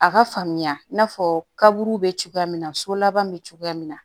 A ka faamuya i n'a fɔ kaburu be cogoya min na so laban bɛ cogoya min na